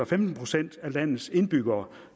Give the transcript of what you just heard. femten procent af landets indbyggere